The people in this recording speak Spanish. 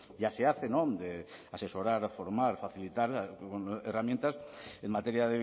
ya se hace de asesorar formar facilitar herramientas en materia